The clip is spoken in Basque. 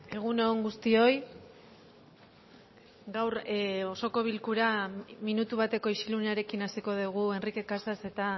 egun on guztioi gaur osoko bilkura minutu bateko isilunearekin hasiko dugu enrique casas eta